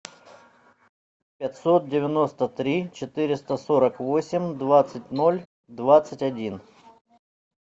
пятьсот девяносто три четыреста сорок восемь двадцать ноль двадцать один